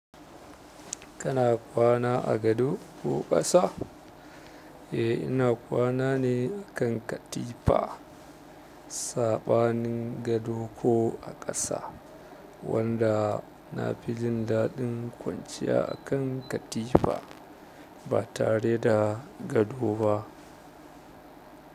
Kana kwana a gado ko ƙasa? Eh ina kwana ne a kan katifa. Saɓanin gado ko a ƙasa wanda na fi jin daɗin kwanciya a kan katifa ba tare da gado ba.